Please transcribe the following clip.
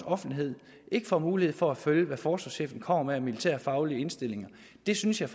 offentligheden får mulighed for at følge hvad forsvarschefen kommer med af militærfaglige indstillinger det synes jeg